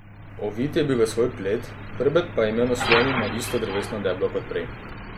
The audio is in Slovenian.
Ovit je bil v svoj plet, hrbet pa je imel naslonjen na isto drevesno deblo kot prej.